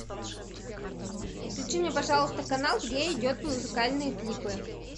включи мне пожалуйста канал где идет музыкальные клипы